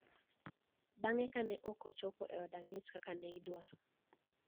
Bang`e ka ne ok ochopo e od ang`ech kaka ne idwaro